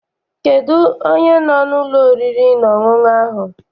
Kedụ onye no n'ụlọ oriri na ọṅụṅụ ahụ?